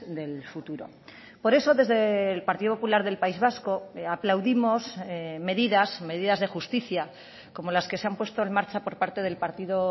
del futuro por eso desde el partido popular del país vasco aplaudimos medidas medidas de justicia como las que se han puesto en marcha por parte del partido